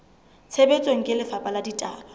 tshebetsong ke lefapha la ditaba